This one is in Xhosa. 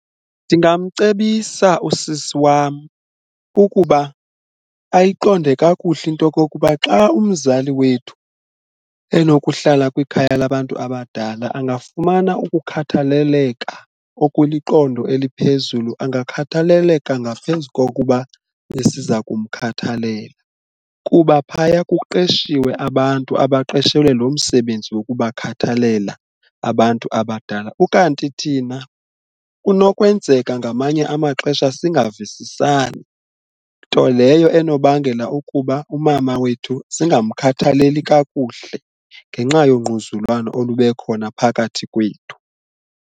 Ndingamcebisa usisi wam ukuba ayiqonde kakuhle intokokuba xa umzali wethu enokuhlala kwikhaya labantu abadala angafumana ukukhathaleleka okuliqondo eliphezulu, angakhathaleleka ngaphezu kokuba besiza kumkhathalela kuba phaya kuqeshiwe abantu abaqeshelwe loo msebenzi wokubakhathalela abantu abadala. Ukanti thina kunokwenzeka ngamanye amaxesha singavisisani nto leyo enobangela ukuba umama wethu singamkhathaleli kakuhle ngenxa yongquzulwano olube khona phakathi kwethu.